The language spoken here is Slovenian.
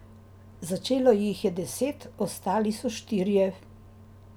Začelo jih je deset, ostali so štirje.